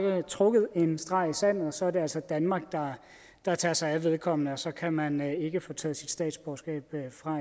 trukket en streg i sandet og så er det altså danmark der tager sig af vedkommende og så kan man ikke få taget sit statsborgerskab fra